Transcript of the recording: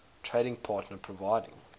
trading partner providing